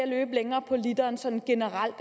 løbe længere på literen sådan generelt